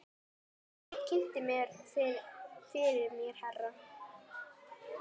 Örn kynnti fyrir mér herra